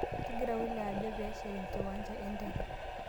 Kegira wilaya ajo pee eshet enkiwanja enteke